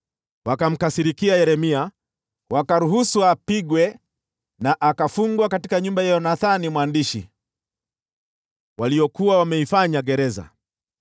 Wakamkasirikia Yeremia, wakaamuru apigwe, na akafungwa katika nyumba ya Yonathani mwandishi waliyokuwa wameifanya gereza.